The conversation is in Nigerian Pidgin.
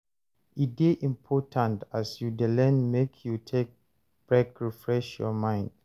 E de important as you de learn make you take break refresh your mind